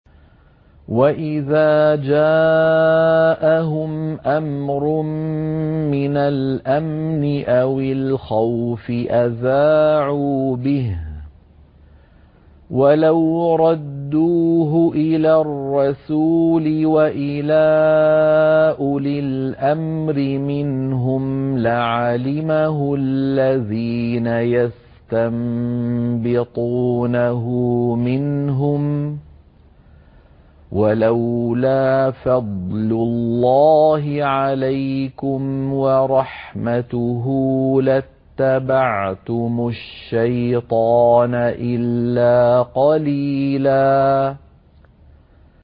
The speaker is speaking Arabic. وَإِذَا جَاءَهُمْ أَمْرٌ مِّنَ الْأَمْنِ أَوِ الْخَوْفِ أَذَاعُوا بِهِ ۖ وَلَوْ رَدُّوهُ إِلَى الرَّسُولِ وَإِلَىٰ أُولِي الْأَمْرِ مِنْهُمْ لَعَلِمَهُ الَّذِينَ يَسْتَنبِطُونَهُ مِنْهُمْ ۗ وَلَوْلَا فَضْلُ اللَّهِ عَلَيْكُمْ وَرَحْمَتُهُ لَاتَّبَعْتُمُ الشَّيْطَانَ إِلَّا قَلِيلًا